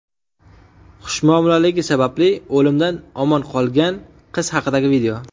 Xushmuomalaligi sababli o‘limdan omon qolgan qiz haqidagi video.